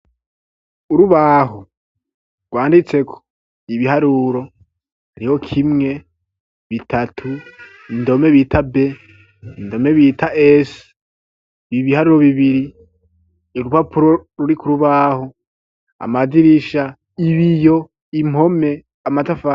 Urubaho rwanditseko ibiharuro ari ho kimwe bitatu indome bita be indome bita esi bibiharuro bibiri erupapuro ruri ku rubaho amadirisha ibiyo impome amatafari.